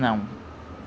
Não.